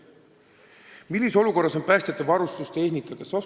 Kolmas küsimus: "Millises olukorras on päästjate varustus ja tehnika?